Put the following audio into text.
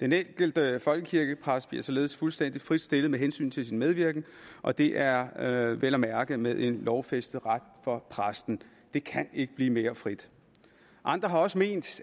den enkelte folkekirkepræst bliver således fuldstændig frit stillet med hensyn til sin medvirken og det er er vel at mærke med en lovfæstet ret for præsten det kan ikke blive mere frit andre har også ment